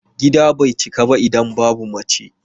Gida bai cika ba idan babu mace.